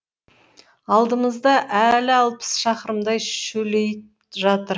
алдымызда әлі алпыс шақырымдай шөлейт жатыр